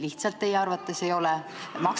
Kas neid teie arvates lihtsalt ei ole?